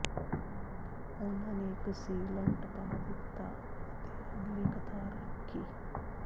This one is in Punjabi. ਉਨ੍ਹਾਂ ਨੇ ਇੱਕ ਸੀਲੰਟ ਪਾ ਦਿੱਤਾ ਅਤੇ ਅਗਲੀ ਕਤਾਰ ਰੱਖੀ